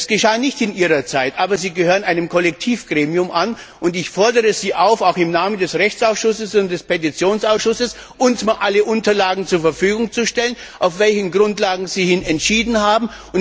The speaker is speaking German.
Es geschah nicht in Ihrer Amtszeit, aber Sie gehören einem Kollektivgremium an, und ich fordere Sie auch im Namen des Rechtsausschusses und des Petitionsausschusses auf, uns alle Unterlagen zur Verfügung zu stellen, auf deren Grundlagen Sie entschieden haben.